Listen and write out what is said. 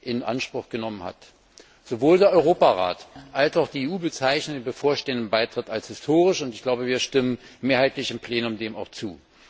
in Anspruch genommen hat. Sowohl der Europarat als auch die EU bezeichnen den bevorstehenden Beitritt als historisch, und ich glaube, wir stimmen dem im Plenum mehrheitlich zu.